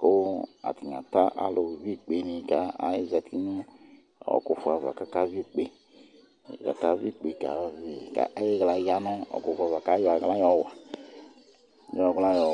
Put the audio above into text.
ɔtayɛ, ata ɔlu égbéni ka ézati nu ɔkufua va ka aka ʋi ikpé kayavi Kayi ɣla yanu ɔkufu ava, ka yɔ aɣla yɔ wa